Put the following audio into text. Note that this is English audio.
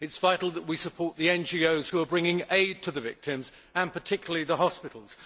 It is vital that we support the NGOs which are bringing aid to the victims, and particularly the hospitals.